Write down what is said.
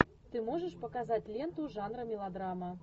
ты можешь показать ленту жанра мелодрама